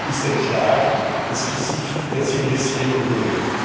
ist ein Schlag ins Gesicht der zivilisierten Welt.